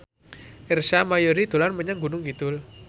Ersa Mayori dolan menyang Gunung Kidul